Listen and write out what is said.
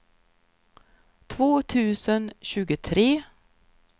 två tusen tjugotre